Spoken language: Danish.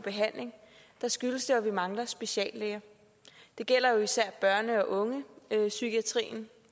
behandling skyldes det at vi mangler speciallæger det gælder især i børne og ungepsykiatrien